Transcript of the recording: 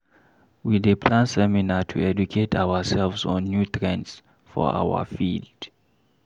We dey plan seminar to educate ourselves on new trends for our field.